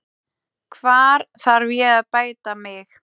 Hvar þarf ég að bæta mig?